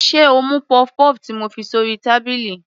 Sé o mú puff-puff ti mo fi sórí tábìlì.